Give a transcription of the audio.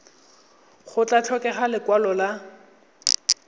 go tla tlhokega lekwalo la